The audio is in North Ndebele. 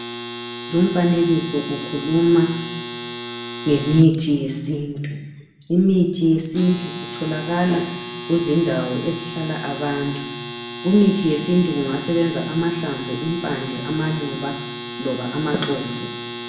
Lumfanekiso ukhuluma ngomuthi wesintu, imithi yesintu itholakala kuzindawo ezihlala abantu. Kumithi yesintu kungasebenza amahlamvu, impande, amaluba loba amaxolo.